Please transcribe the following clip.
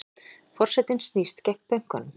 Forsetinn snýst gegn bönkunum